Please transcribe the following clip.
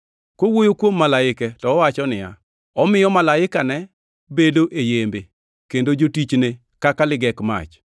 Kowuoyo kuom malaike to owacho niya, “Omiyo malaikane bedo yembe, kendo jotichne kaka ligek mach.” + 1:7 \+xt Zab 104:4\+xt*